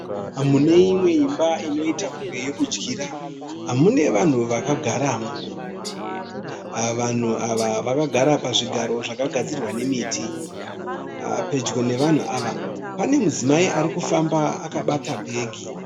Muneimwe imba inoita kunge yekudyira mune vanhu vakagaramo. Vanhu ava vakagara pazvigaro zvakagadzirwa nemiti. Pedyo nevanhu ava panemudzimai arikufamba akabata bhegi.